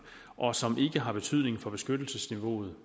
og som ikke har betydning for beskyttelsesniveauet